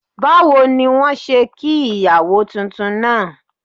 Báwo ni wọ́n ṣe kí ìyàwó titun náà?